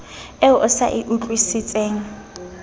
eo o sa e utlwisiseng